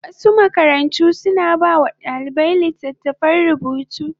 Wasu makarantu suna ba wa ɗalibai littattafan rubutu.